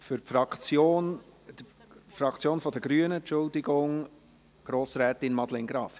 Für die Fraktion der Grünen spricht Grossrätin Madeleine Graf.